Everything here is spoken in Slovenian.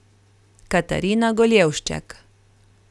Katarina Goljevšček.